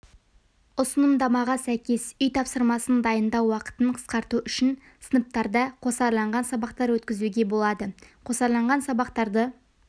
ұсынымдамаға сәйкес үй тапсырмасын дайындау уақытын қысқарту үшін сыныптарда қосарланған сабақтар өткізуге болады қосарланған сабақтарды